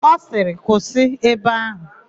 Ọ sịrị, "kwụsị ebe áhụ̀"!